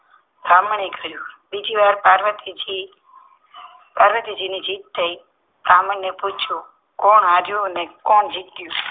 બ્રાહ્મણે કહ્યું બીજીવાર પાર્વતીજી પાર્વતીજી ની જીત થઈ બ્રાહ્મણ ને પૂછ્યું કોણ હાર્યું અને કોણ જીત્યું